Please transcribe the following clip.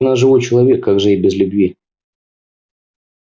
но ведь она живой человек как же ей без любви